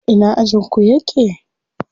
A ina ajin ku yake?